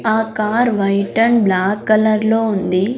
ఆ car white and black colour లో ఉంది.